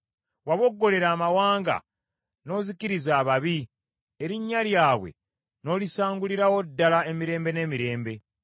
Waboggolera amawanga, n’ozikiriza ababi; erinnya lyabwe n’olisangulirawo ddala emirembe n’emirembe.